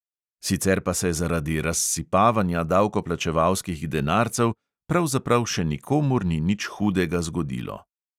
Sicer pa se zaradi razsipavanja davkoplačevalskih denarcev pravzaprav še nikomur ni nič hudega zgodilo.